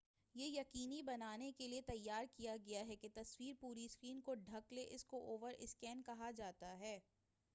یہ یقینی بنانے کیلئے تیار کیا گیا ہے کہ تصویر پوری سکرین کو ڈھک لے اسی کو اوور سکین کہا جاتا ہے